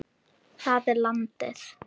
Það er landið.